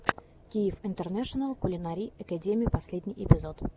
киев интернэшенал кулинари экэдими последний эпизод